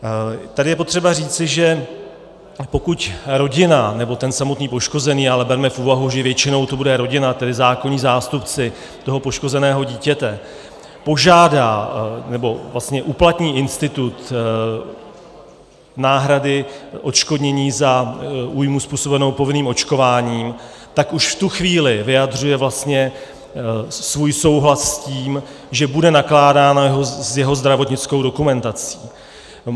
Tady je potřeba říci, že pokud rodina nebo ten samotný poškozený, ale berme v úvahu, že většinou to bude rodina, tedy zákonní zástupci toho poškozeného dítěte, požádá, nebo vlastně uplatní institut náhrady odškodnění za újmu způsobenou povinným očkováním, tak už v tu chvíli vyjadřuje vlastně svůj souhlas s tím, že bude nakládáno s jeho zdravotnickou dokumentací.